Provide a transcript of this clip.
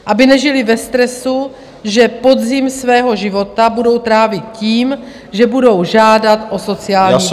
Aby nežili ve stresu, že podzim svého života budou trávit tím, že budou žádat o sociální dávky.